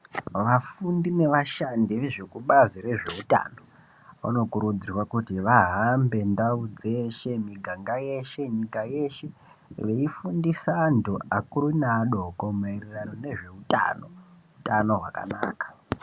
Vafundi nevashandi vezvekubazi rezveutano vanokurudzirwa kuti vahambe ndau dzeshe, miganga yeshe, nyika yeshe veifundisa antu akuru neadiko maererano nezveutano, utano hwakanaka.